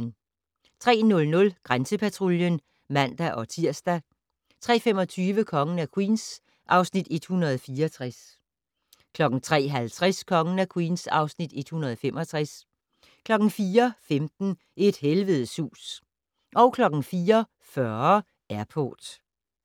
03:00: Grænsepatruljen (man-tir) 03:25: Kongen af Queens (Afs. 164) 03:50: Kongen af Queens (Afs. 165) 04:15: Et helvedes hus 04:40: Airport